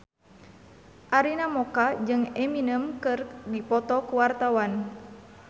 Arina Mocca jeung Eminem keur dipoto ku wartawan